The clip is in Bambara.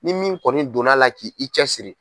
Ni min kɔni donn'a la ki i cɛsiri.